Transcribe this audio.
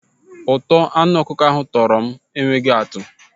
Ụtọ anụ ọkụkọ ahụ tọrọ m enweghị atụ.